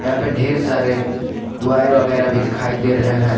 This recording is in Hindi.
यहां पे ढेर सारे वगैरह भी दिखाई दे रहे हैं।